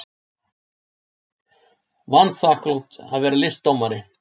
Vanþakklátt að vera listdómari.